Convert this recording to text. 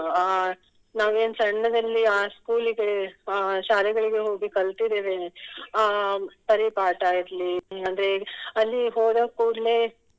ಅಹ್ ನಾವೇನ್ ಸಣ್ಣದಲ್ಲಿ ಆ school ಗೆ ಅಹ್ ಶಾಲೆಗಳಿಗೆ ಹೋಗಿ ಕಲ್ತಿದ್ದೇವೆ ಅಹ್ ಪರಿಪಾಠ ಇರ್ಲಿ ಅಂದ್ರೆ ಅಲ್ಲಿ ಹೋದ ಕೂಡ್ಲೇ